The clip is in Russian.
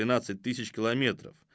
двенадцать тысяч километров